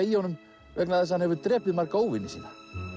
í honum vegna þess að hann hefur drepið marga óvini sína